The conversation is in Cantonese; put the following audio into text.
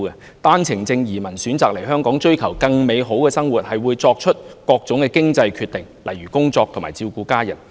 持單程證人士選擇移居香港，為追求更美好的生活，他們會作出各種經濟決定，例如工作和照顧家人。